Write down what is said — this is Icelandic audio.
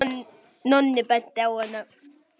Nonni benti henni á hana.